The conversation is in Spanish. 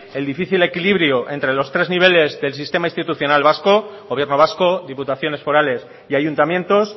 el difícil equilibrio entre los tres niveles del sistema institucional vasco gobierno vasco diputaciones forales y ayuntamientos